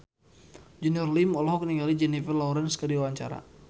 Junior Liem olohok ningali Jennifer Lawrence keur diwawancara